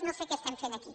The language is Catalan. no sé què estem fent aquí